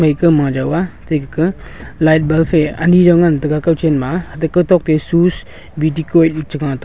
ekha ma jaw ga ate light bulb aa ane jaw ngan taiga kun chan ma ga ton shoes bautique cha ga taiga.